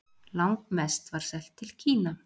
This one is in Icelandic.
Langmest var selt til Kína.